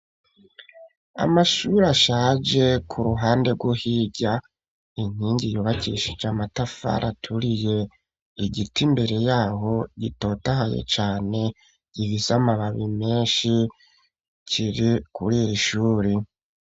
Amashuri ashaje; ku ruhande rwo hirya, inkingi, yubakishije amatafari aturiye; igiti imbere y'aho, gitotahaye cane, gifise amababi menshi, kiri kuri iri shuri.